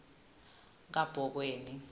kabhokweni